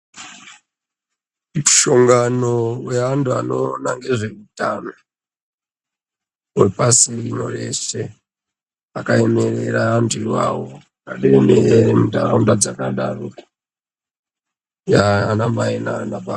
Mushongano weantu anoona ngezveutano hwepasirino reshe, wakaemerera antu ivavo, vanoemere ntaraunda dzakadaro, anamai naanababa.